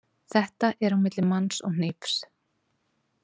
Þetta er á milli manns og hnífs.